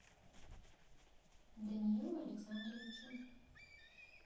даниилу александровичу